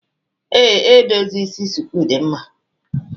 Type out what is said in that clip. Ee, edozi isi shuku dị mma